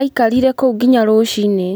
Aikarire kũu nginya rũciinĩ.